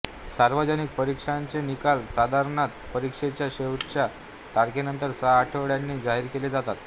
सार्वजनिक परीक्षांचे निकाल साधारणत परीक्षेच्या शेवटच्या तारखेनंतर सहा आठवड्यांनी जाहीर केले जातात